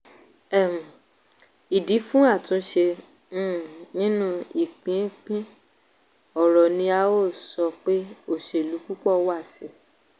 um ìdí fún àtúnṣe um nínú ìpínpín ọrọ̀ ni a sọ pé òṣèlú púpọ̀ wà sí i.